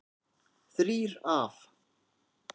Þrír af